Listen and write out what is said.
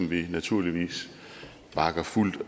vi naturligvis bakker fuldt